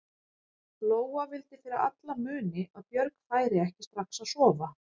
Lóa vildi fyrir alla muni að Björg færi ekki strax að sofa.